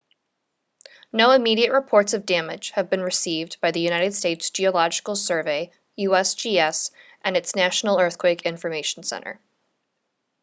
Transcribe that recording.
no immediate reports of damage have been received by the united states geological survey usgs and its national earthquake information center